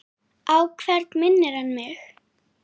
Á hvern minnir hann mig?